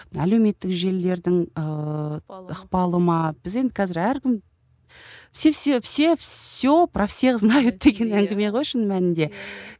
әлеуметтік желілердің ыыы ықпалы ма біз енді қазір әркім все все все все про всех знают деген әңгіме ғой шын мәнінде